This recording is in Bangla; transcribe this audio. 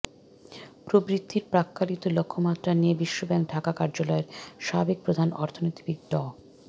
প্রবৃদ্ধির প্রাক্কলিত লক্ষ্যমাত্রা নিয়ে বিশ্বব্যাংক ঢাকা কার্যালয়ের সাবেক প্রধান অর্থনীতিবিদ ড